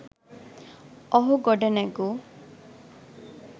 ඔහු ගොඩනැගු